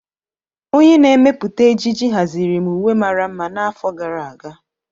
Onye na-emepụta ejiji haziri m uwe mara mma n'afọ gara aga.